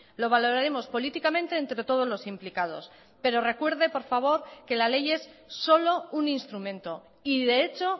lo valoraremos políticamente entre todos los implicados pero recuerde por favor que la ley es solo un instrumento y de hecho